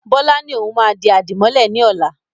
Bọlá ni òun máa di àdìmọ́lẹ̀ ni ọ̀la.